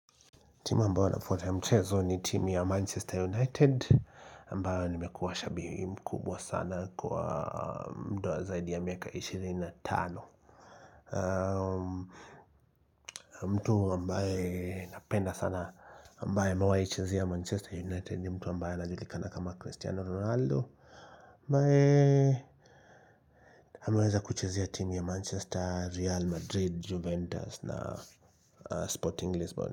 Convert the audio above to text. Timu ambao nafuata ya mchezo ni timu ya Manchester United ambayo nimekuwa shabim kubwa sana kwa mda zaidi ya miaka ishirini na tano. Mtu ambaye napenda sana ambaye amewahi chezea Manchester United nimtu ambaye anajulikana kama Cristiano Ronaldo Mbae ameweza kuchezea timu ya Manchester, Real Madrid, Juventus na Sporting Lisbon.